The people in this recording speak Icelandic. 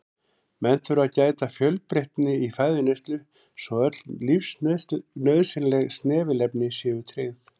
Menn þurfa að gæta fjölbreytni í fæðuneyslu svo öll lífsnauðsynleg snefilefni séu tryggð.